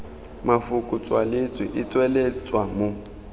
mafoko tswaletswe e tsweletswa mo